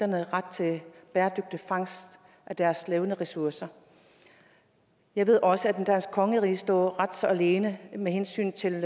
ret til bæredygtig fangst af deres levende ressourcer jeg ved også at det danske kongerige står ret så alene med hensyn til